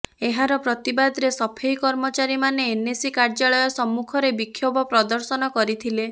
ଏହାର ପ୍ରତିବାଦରେ ସଫେଇ କର୍ମଚାରୀମାନେ ଏନ୍ଏସି କାର୍ଯ୍ୟାଳୟ ସମ୍ମୁଖରେ ବିକ୍ଷୋଭ ପ୍ରଦର୍ଶନ କରିଥିଲେ